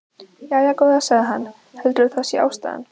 Jæja, góða, sagði hann, heldurðu að það sé ástæðan?